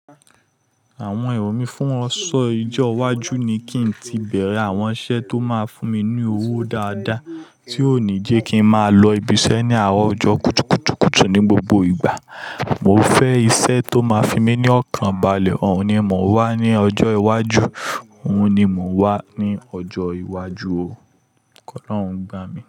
Àwọn èrò mí fún ọ̀ṣọ́ ìjọ́ iwájú ni kí n tí bẹ̀rẹ̀ àwọn iṣẹ́ tó máa fún mi ní owó dáadáa, tí ó ní jẹ́ kí n máa lọ ibi iṣẹ́ ní àárọ̀ ọjọ́ kùtùkùtù kùtù ní gbogbo ìgbà. Mo fẹ́ iṣẹ́ tó máa fi mí ní ọ̀kan balẹ̀, òhun ni mò ń wá ní ọjọ́ iwájú, òhun ni mò ń wá ní ọjọ́ iwájú o. Ko Ọlọ́hun gbà mí.